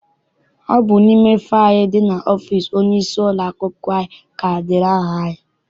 Ọ bụ n'ime faịlu ndị dị n'ọfịịsi onye isi ụlọakwụkwọ anyị ka edere aha anyị.